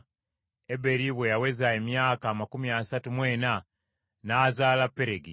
Eberi bwe yaweza emyaka amakumi asatu mu ena n’azaala Peregi.